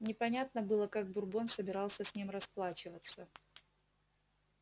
непонятно было как бурбон собирался с ним расплачиваться